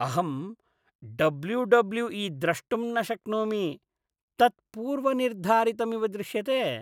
अहं W W E द्रष्टुं न शक्नोमि। तत् पूर्वनिर्धारितमिव दृश्यते।